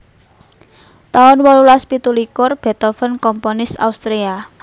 taun wolulas pitu likur Beethoven komponis Austria